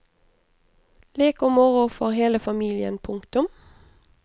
Lek og moro for hele familien. punktum